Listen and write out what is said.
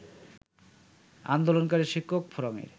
আন্দোলনকারী শিক্ষক ফোরামের